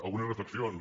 algunes reflexions